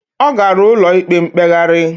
Ọ gara ụlọ ikpe mkpegharị.